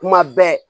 Kuma bɛɛ